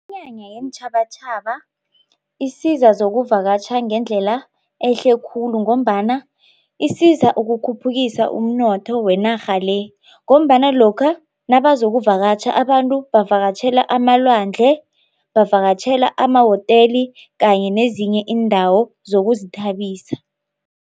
Iminyanya yeentjhabatjhaba isiza zokuvakatjha ngendlela ehle khulu ngombana isiza ukukhuphukisa umnotho wenarha le ngombana lokha nabazokuvakatjha abantu bavakatjhela amalwandle, bavakatjhela amahoteli kanye nezinye iindawo zokuzithabisa.